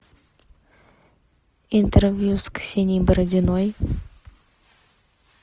интервью с ксенией бородиной